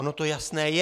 Ono to jasné je.